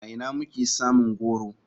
A ina muke samun goro?